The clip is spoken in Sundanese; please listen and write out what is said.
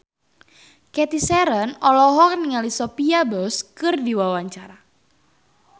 Cathy Sharon olohok ningali Sophia Bush keur diwawancara